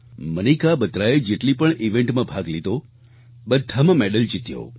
મનિકા બત્રાએ જેટલી પણ ઇવેન્ટ માં ભાગ લીધો બધામાં મેડલ જીત્યો